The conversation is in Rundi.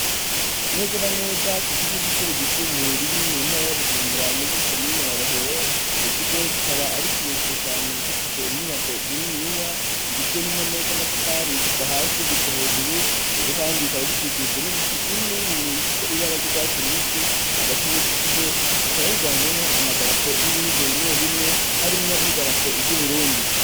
Nezera neza ku kiko gicure gisumbuye riri mu ntara y'abujumbura muri komina ya rohero co kigo gikaba ari ikirekiro cane gifise inyubako zininiya zigizwe n'impome z'amatafari kuva hasi ygushwa hejuru icujo, kandi ikaba gikikujwe n'ibiti bini nibinini bifise ibara ry'urwatse urubisi hagati muri co kigo hakaba higanjwemwo amaa darapo y'ibihugu bimwe bimwe harimwo n'i darapo iry' uburundi.